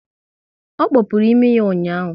Ọ kpopuru imi ya ụnyaahụ